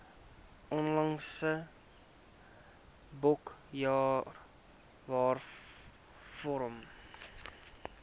onlangse boekjare waarvoor